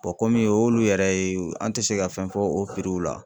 komi o y'olu yɛrɛ ye an tɛ se ka fɛn fɔ o la.